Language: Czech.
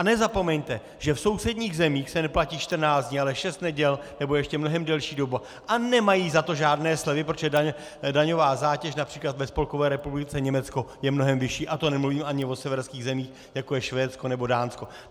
A nezapomeňte, že v sousedních zemích se neplatí 14 dní, ale šest neděl nebo ještě mnohem delší doba a nemají za to žádné slevy, protože daňová zátěž například ve Spolkové republice Německo je mnohem vyšší, a to nemluvím ani o severských zemích, jako je Švédsko nebo Dánsko.